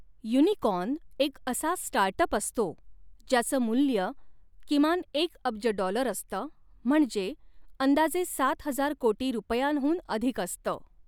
Unicorn एक असा start up असतो ज्याचं मूल्य किमान एक अब्ज डॉलर असतं म्हणजे अंदाजे सात हजार कोटी रुपयांहून अधिक असतं.